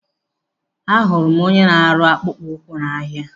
Ahụrụ m onye na-arụ akpụkpọ ụkwụ n'ahia.